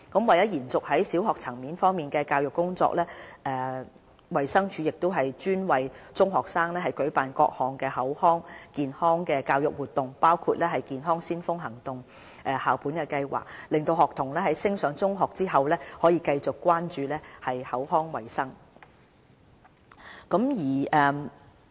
為延續在小學層面的教育工作，衞生署亦專為中學生舉辦各項口腔健康教育活動，包括"健腔先鋒行動"校本計劃，讓學童在升上中學後繼續關注口腔衞生。